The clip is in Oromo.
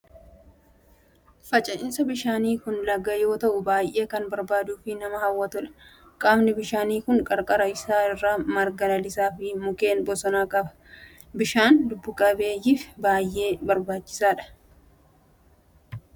Finca'aan bishaanii kun laga yoo ta'u baayyee kan bareeduu fi nama hawwatudha. Qaamni bishaanii kun qarqara isaa irraa marga lalisaa fi mukkeen bosonaa qaba. Bishaan lubbu qabeeyyif baayyee barbaachisaa dha.